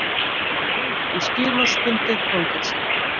Breytt í skilorðsbundið fangelsi